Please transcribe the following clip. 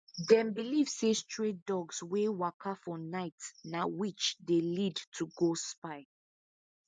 them believe say stray dogs wey waka for night na witch dey lead to go spy